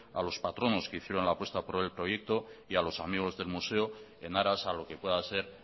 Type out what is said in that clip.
a los patronos que hicieron la apuesta por el proyecto y a los amigos del museo en aras a lo que pueda ser